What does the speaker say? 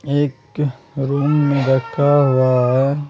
एक रूम रखा हुआ है ।